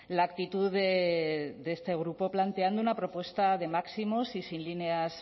la actitud de este grupo planteando una propuesta de máximos y sin líneas